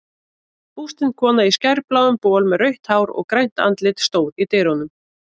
Bústin kona í skærbláum bol með rautt hár og grænt andlit stóð í dyrunum.